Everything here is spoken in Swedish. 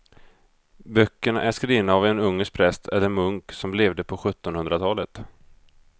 Böckerna är skrivna av en ungersk präst eller munk som levde på sjuttonhundratalet.